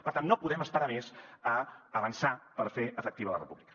per tant no podem esperar més a avançar per fer efectiva la república